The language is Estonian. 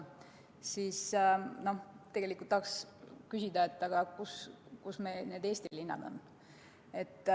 Tegelikult tahaks küsida, kus meil Eestis need linnad on.